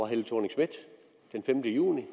helle thorning schmidt den femte juni